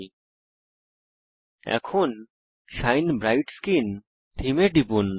ল্টপাউসেগ্ট এখন shine bright skin থীমে টিপুন